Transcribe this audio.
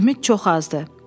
Ümid çox azdır.